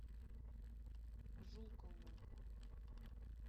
жукову